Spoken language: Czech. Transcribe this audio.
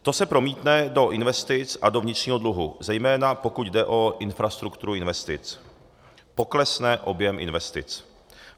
To se promítne do investic a do vnitřního dluhu, zejména pokud jde o infrastrukturu investic, poklesne objem investic.